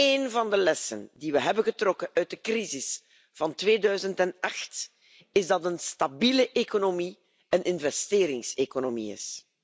Een van de lessen die we hebben getrokken uit de crisis van 2008, is dat een stabiele economie een investeringseconomie is.